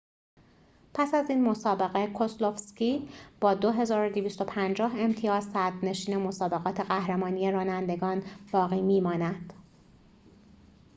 پس از این مسابقه کسلوفسکی با ۲۲۵۰ امتیاز صدرنشین مسابقات قهرمانی رانندگان باقی می‌ماند